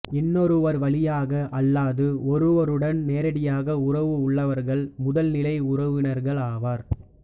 இன்னொருவர் வழியாக அல்லாது ஒருவருடன் நேரடியாக உறவு உள்ளவர்கள் முதல் நிலை உறவினர்கள் ஆவர்